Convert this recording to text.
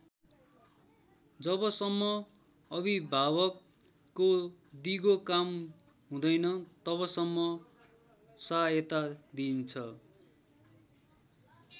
जबसम्म अभिभावकको दिगो काम हुँदैन तबसम्म सहायता दिइन्छ।